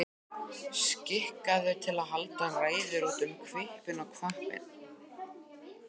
Skikkaður til að halda ræður út um hvippinn og hvappinn.